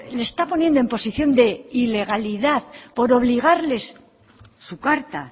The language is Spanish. le está poniendo en posición de ilegalidad por obligarles su carta